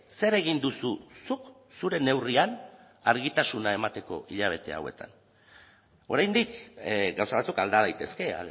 zer egin duzu zuk zure neurrian argitasuna emateko hilabete hauetan oraindik gauza batzuk alda daitezke